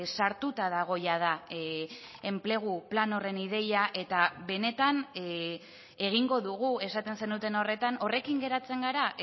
sartuta dago jada enplegu plan horren ideia eta benetan egingo dugu esaten zenuten horretan horrekin geratzen gara